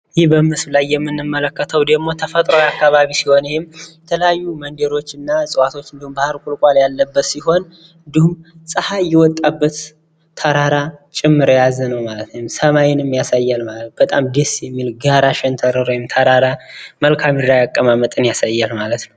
ይህ በምስሉ ላይ የምንመለከተው ደግሞ ተፈጥሯዊ አካባቢ ሲሆን ይህም የተለያዩ መንደሮና እጽዋቶች እንድሁም ባህር ቁልቋል ያለበት ሲሆን ጸሐይ የወጣበት ተራራ ጭምር የያዘ ነው ማለት ነው። ሰማይንም ያሳያል ማለት ነው። በጣም ደስ የሚል ጋራ ሸንተረር ወይም ተራራ መልክአምድራዊ አቀማመጥን ያሳያል ማለት ነው።